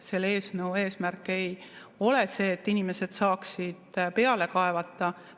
Selle eelnõu eesmärk ei ole see, et inimesed saaksid peale kaevata.